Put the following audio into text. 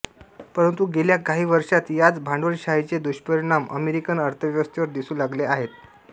परंतु गेल्या काही वर्षात याच भांडवलशाहीचे दुष्परिणाम अमेरिकन अर्थव्यवस्थेवर दिसू लागले आहेत